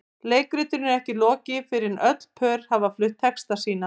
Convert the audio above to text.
Leikritinu er ekki lokið fyrr en öll pör hafa flutt texta sína.